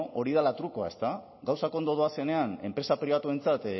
hori dela trukoa gauzak ondo doazenean enpresa pribatuentzat